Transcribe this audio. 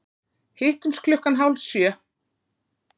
Hittumst klukkan hálf sjö.